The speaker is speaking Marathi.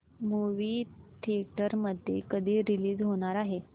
मूवी थिएटर मध्ये कधी रीलीज होणार आहे